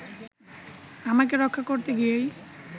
আমাকে রক্ষা করতে গিয়েই